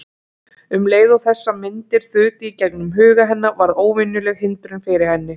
Um leið og þessar myndir þutu í gegnum huga hennar varð óvenjuleg hindrun fyrir henni.